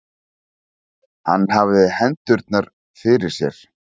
Hann hafði hendurnar fyrir sér.